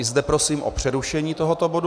I zde prosím o přerušení tohoto bodu.